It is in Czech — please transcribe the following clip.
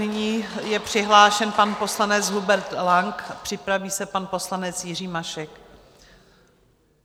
Nyní je přihlášen pan poslanec Hubert Lang, připraví se pan poslanec Jiří Mašek.